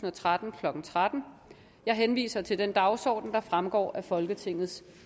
og tretten klokken tretten jeg henviser til den dagsorden der fremgår af folketingets